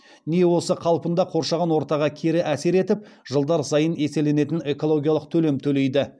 не осы қалпында қоршаған ортаға кері әсер етіп жылдар сайын еселенетін экологиялық төлем төлейді